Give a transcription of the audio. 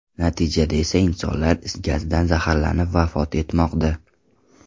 Natijada esa insonlar is gazidan zaharlanib vafot etmoqda.